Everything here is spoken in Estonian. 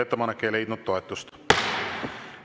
Ettepanek ei leidnud toetust.